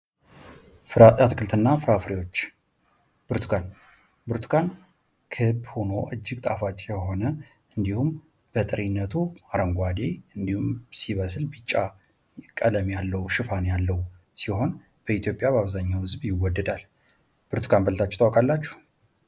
ፍራፍሬ አትክልትና ፍራፍሬዎች ብርቱካን ብርቱካን ክብ ሆኖ እጅግ ጣፋጭ የሆነ እንዲሁም በጥሬነቱ አረንጓዴ እንዲሁም ሲበስል ቢጫ ቀለም ሽፋን ያለው ሲሆን በኢትዮጵያ በአብዛኛው ህዝብ ይወደዳል። ብርቱካን በልታችሁ ታውቃላችሁ?